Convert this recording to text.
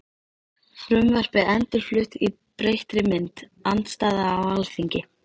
Frumvarpið endurflutt í breyttri mynd- Andstaða á Alþingi